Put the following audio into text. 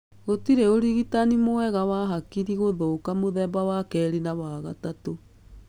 Gũtirĩ ũrigitani mwega wa hakiri gũthũka mũthemba wa kerĩ na wa gatatũ.